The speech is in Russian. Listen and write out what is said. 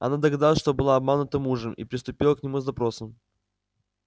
она догадалась что была обманута мужем и приступила к нему с допросом